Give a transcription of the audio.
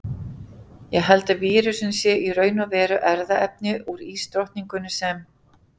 Ég held að vírusinn sé í raun og veru erfðaefni úr ísdrottningunni sem.